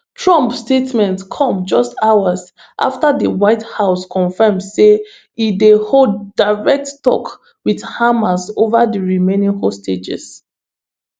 trump statement come just hours afta di white house confam say e dey hold direct tok wit hamas ova di remaining hostages